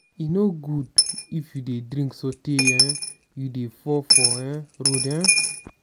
e no good if you dey drink sotee um you go dey fall for um road. um